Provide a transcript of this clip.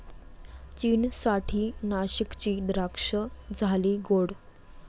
चीनसाठी नाशिकची द्राक्षं झाली गोड!